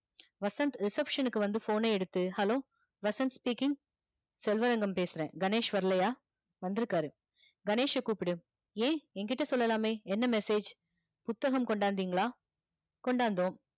Vasanth reception க்கு வந்து phone ன எடுத்து hello வசந்த் speaking செல்வரங்கம் பேசற கணேஷ் வரலையா வந்துருக்காரு கணேஷ் ச கூப்புடு ய யங்கிட்ட சொல்லலாமே என்ன message புத்தகம் கொண்டாதிங்களா கொண்டாந்தோம்